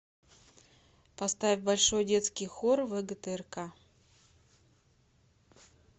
поставь большой детский хор вгтрк